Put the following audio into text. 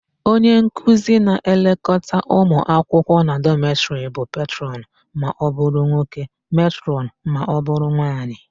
Onyenkuzi na-elekọta ụmụakwụkwọ na dọmetịrị bụ petrọnụ ma ọbụrụ nwoke, metrọnụ ma ọbụrụ nwaanyị.